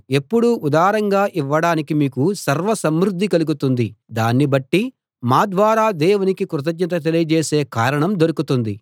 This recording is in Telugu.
ఎప్పుడూ ఉదారంగా ఇవ్వడానికి మీకు సర్వ సమృద్ధి కలుగుతుంది దాన్ని బట్టి మా ద్వారా దేవునికి కృతజ్ఞత తెలియజేసే కారణం దొరుకుతుంది